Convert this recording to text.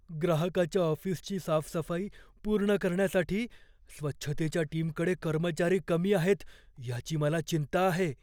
ग्राहकाच्या ऑफिसची साफसफाई पूर्ण करण्यासाठी स्वच्छतेच्या टीमकडे कर्मचारी कमी आहेत याची मला चिंता आहे.